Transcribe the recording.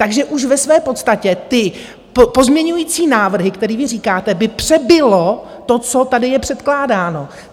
Takže už ve své podstatě ty pozměňovací návrhy, které vy říkáte, by přebilo to, co tady je předkládáno.